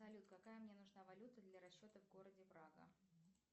салют какая мне нужна валюта для расчета в городе прага